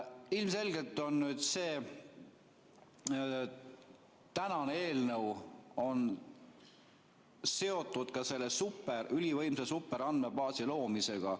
Ilmselgelt on see eelnõu seotud ka selle ülivõimsa superandmebaasi loomisega.